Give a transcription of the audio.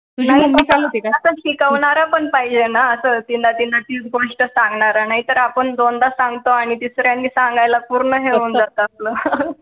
आता शिकवणारा पण पाहिजे ना असं तिला तिला तीच गोष्ट सांगणारा नाहीतर आपण दोनदा सांगतो आणि तिसऱ्यांदा सांगायला पूर्ण हे होऊन जातं आपलं